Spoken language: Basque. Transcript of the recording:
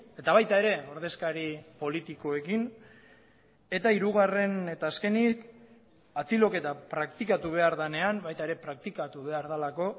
eta baita ere ordezkari politikoekin eta hirugarren eta azkenik atxiloketa praktikatu behar denean baita ere praktikatu behar delako